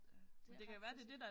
Ja det er faktisk